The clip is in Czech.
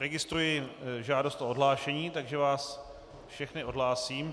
Registruji žádost o odhlášení, takže vás všechny odhlásím.